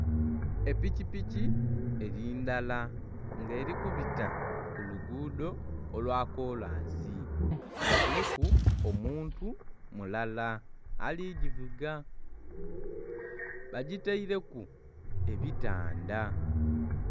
Epikipiki eri ndala nga eri kubita ku luguudo olwa kolansi nga kuliku omuntu mulala ali givuga bagitaireku ebitanda.